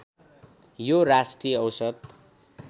यो राष्ट्रिय औसत